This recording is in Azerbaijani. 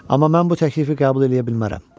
Amma mən bu təklifi qəbul eləyə bilmərəm.